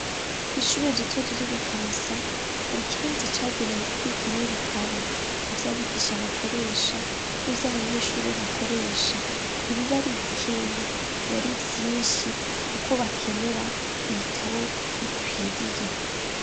Kw'ishuri rito riri mu Kamesa, har' ikibanza cagenewe kubikamw 'ibitabo, ivyabigisha bakoresha, n'ivy'abanyeshuri bakoresha, nibibari bikeya bibari vyinshi kuko bakenera ibitabo bikwiriye.